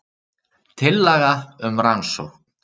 Tillaga um rannsókn